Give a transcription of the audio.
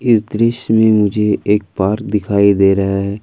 इस दृश्य में मुझे एक पार्क दिखाई दे रहा है।